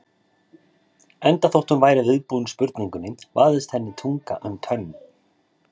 Enda þótt hún væri viðbúin spurningunni vafðist henni tunga um tönn.